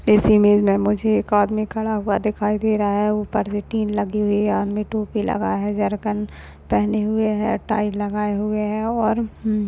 इस इमेज में मुझे एक आदमी खड़ा हुआ दिखाई दे रहा है उपर लगी हुई है जर्किंग पहने हुए है टाई लगा हुआ है और --